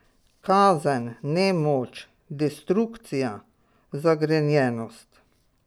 Kazen, nemoč, destrukcija, zagrenjenost.